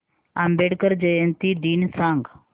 आंबेडकर जयंती दिन सांग